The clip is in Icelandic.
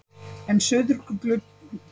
En suðurglugginn ljómar alltaf.